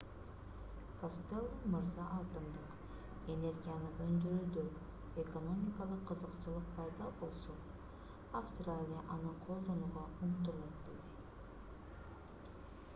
костелло мырза атомдук энергияны өндүрүүдө экономикалык кызыкчылык пайда болсо австралия аны колдонууга умтулат деди